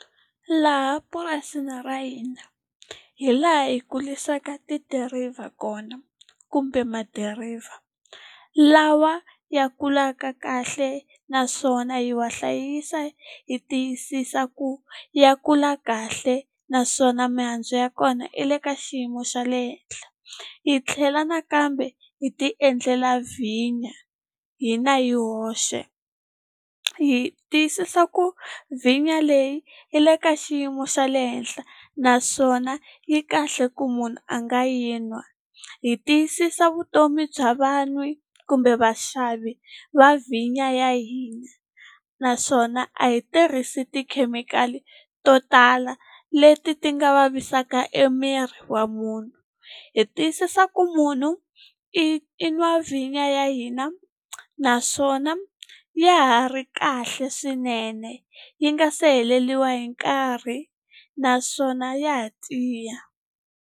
Laha purasini ra hina hi laha hi kurisaka tidiriva kona kumbe madirayivha, lawa ya kulaka kahle naswona hi wa hlayisa hi tiyisisa ku ya kula kahle naswona mihandzu ya kona yi le ka xiyimo xa le henhla. Hi tlhela nakambe hi ti endlela vhinyo, hina hi hexe. Hi tiyisisa ku vhinyo leyi yi le ka xiyimo xa le henhla naswona yi kahle ku munhu a nga yi nwa. Hi tiyisisa vutomi bya vanhu kumbe vaxavi va vhinyo ya hina, naswona a hi tirhisi tikhemikhali to tala leti ti nga vavisaka emiri wa munhu. Hi tiyisisa ku munhu i i nwa vhinyo ya hina, naswona ya ha ri kahle swinene. Yi nga se heleriwa hi nkarhi, naswona ya ha tiya.